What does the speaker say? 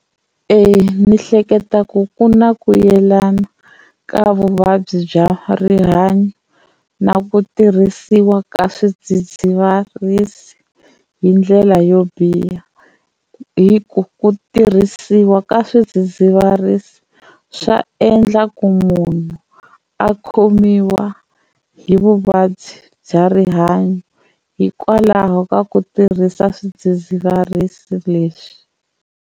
E ni hleketa ku ku na ku yelana ka vuvabyi bya rihanyo na ku tirhisiwa ka swidzidziharisi hi ndlela yo biha. Hi ku ku tirhisiwa ka swidzidziharisi swa endla ku munhu a khomiwa hi vuvabyi bya rihanyo hikwalaho ka ku tirhisa swidzidziharisi leswi.